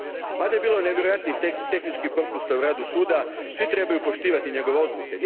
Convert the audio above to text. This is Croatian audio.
Mada je bilo nevjerojatnih tehničkih propusta u radu Suda, svi trebaju poštivati njegove odluke.